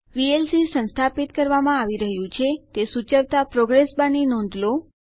VLC સંસ્થાપિત કરવામાં આવી રહ્યું છે તે સૂચવતા પ્રોગ્રેસ બાર ની નોંધ લો